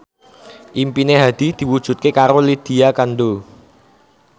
impine Hadi diwujudke karo Lydia Kandou